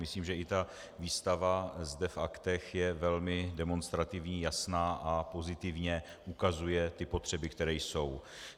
Myslím, že i ta výstava zde v aktech je velmi demonstrativní, jasná a pozitivně ukazuje ty potřeby, které jsou.